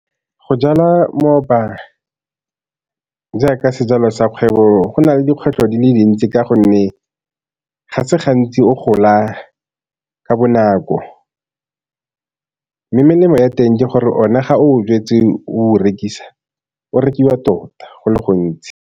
Go jala jaaka sejalo sa kgwebo go na le dikgwetlho di le dintsi ka gonne ga se gantsi o gola ka bonako, mme melemo ya teng ke gore one ga o jetse o rekisa o o rekiwa tota go le gontsi.